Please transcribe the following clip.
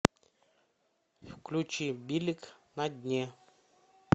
включи билик на дне